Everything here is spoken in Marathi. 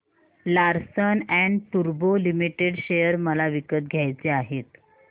लार्सन अँड टुर्बो लिमिटेड शेअर मला विकत घ्यायचे आहेत